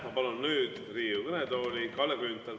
Ma palun nüüd Riigikogu kõnetooli Kalle Grünthali.